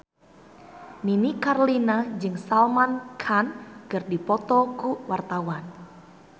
Nini Carlina jeung Salman Khan keur dipoto ku wartawan